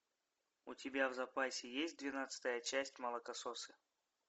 у тебя в запасе есть двенадцатая часть молокососы